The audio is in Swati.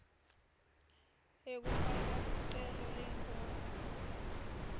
yekufaka sicelo lengur